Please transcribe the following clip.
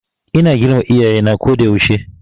Ina girmama Iyaye na ko da yaushe.